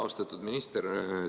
Austatud minister!